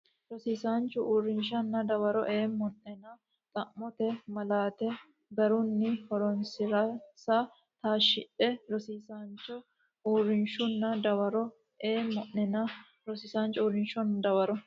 Rosiisaancho uurrishshunna dawaro eemma o nena xa mote malaate garunni horoonsi ransa taashshidhe Rosiisaancho uurrishshunna dawaro eemma Rosiisaancho uurrishshunna dawaro.